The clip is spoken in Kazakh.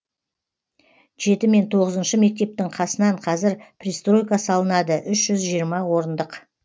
жеті мен тоғызыншы мектептің қасынан қазір пристройка салынады үш жүз жиырма орындық